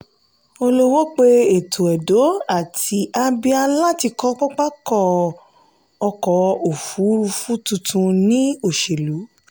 olowo pe ètò edo àti abia láti kọ pápá ọkọ̀ ọkọ̀ òfurufú tuntun ni òṣèlú.